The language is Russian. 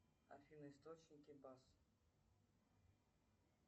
афина источники бас